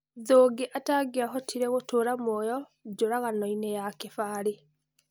Thũngĩ atangĩahotire gũtũra muoyo njũraganoini ya Kĩbarĩ.